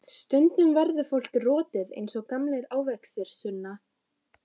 Stundum verður fólk rotið eins og gamlir ávextir, Sunna.